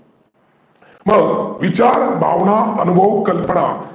मग विचार, भावना, कल्पना अनुभव